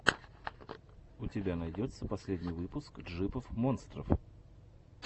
у тебя найдется последний выпуск джипов монстров